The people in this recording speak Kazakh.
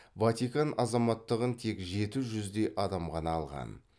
ватикан азаматтығын тек жеті жүздей адам ғана алған